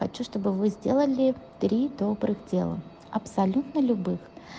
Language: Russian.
хочу с тобой вы сделали три добрых дела абсолютно любых